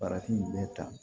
Farafin bɛ ta